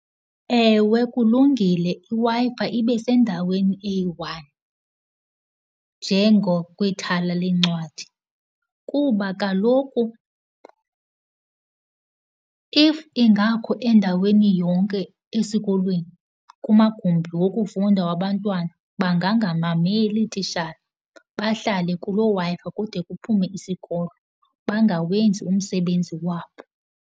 Ewe kulungile, iWi-Fi ibe sendaweni eyi-one njengakwithala leencwadi, kuba kaloku if ingakho endaweni yonke esikolweni, kumagumbi wokufunda wabantwana, bangangamameli iititshala bahlale kuloo Wi-Fi kude kuphume isikolo, bangawenzi umsebenzi wabo.